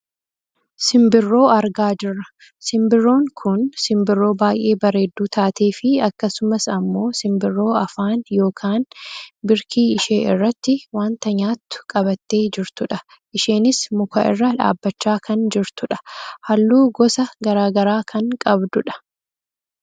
Simbirroo argaa jirra. Simbirroon kun simbirroo baayyee bareedduu taatee fi akkasumas ammoo simbirroo afaan yookaan birkii ishee irratti wanta nyaattu qabattee jirtudha. Isheenis muka irra dhaabbachaa kan jirtudha. Halluu gosa gara garaa kan qabdudha.